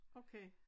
Okay